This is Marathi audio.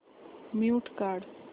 म्यूट काढ